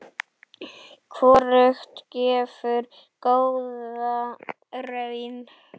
Hvorugt gefur góða raun.